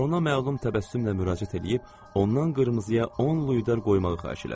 Barona məlum təbəssümlə müraciət eləyib ondan qırmızıya 10 luydar qoymağı xahiş elədi.